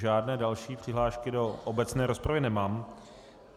Žádné další přihlášky do obecné rozpravy nemám.